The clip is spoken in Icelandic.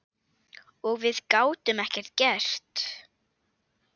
Og við gátum ekkert gert.